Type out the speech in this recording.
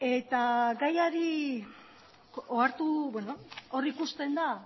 eta gaiari ohartu hor ikusten da